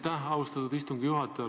Aitäh, austatud istungi juhataja!